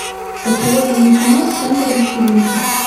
посоветуй мне кино центр вечеринки